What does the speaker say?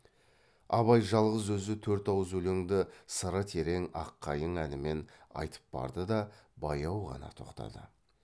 абай жалғыз өзі төрт ауыз өлеңді сыры терең ақ қайың әнімен айтып барды да баяу ғана тоқтады